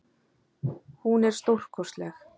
Hún er stórkostleg.